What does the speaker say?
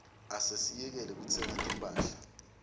asesiyekele kutsenga timphahla